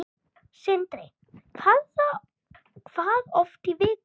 Sindri: Hvað oft í viku?